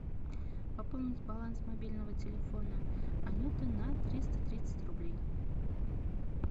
пополнить баланс мобильного телефона анюты на триста тридцать рублей